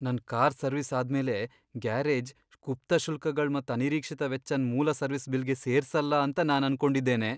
ನನ್ car service ಅದ್ ಮೇಲೆ ಗ್ಯಾರೇಜ್ ಗುಪ್ತ ಶುಲ್ಕಗಳ್ ಮತ್ ಅನಿರೀಕ್ಷಿತ ವೆಚ್ಚನ್ ಮೂಲ ಸರ್ವಿಸ್ ಬಿಲ್ಗೆ ಸೇರ್ಸಲ್ಲ ಅಂತ ನಾನ್ ಅನ್ಕೊಂಡಿದ್ದೇನೆ.